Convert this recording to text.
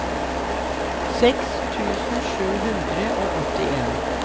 seks tusen sju hundre og åttien